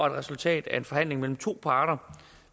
et resultat af en forhandling mellem to parter